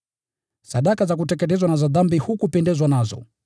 sadaka za kuteketezwa na za dhambi hukupendezwa nazo.